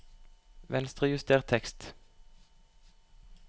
Venstrejuster tekst